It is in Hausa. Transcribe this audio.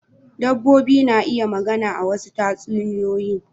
Dabbobi na iya magana a wasu tatsuniyoyin.